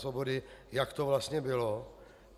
Svobody, jak to vlastně bylo.